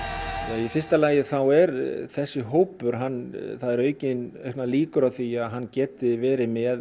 í fyrsta lagi þá er þessi hópur það eru auknar líkur á því að hann geti verið með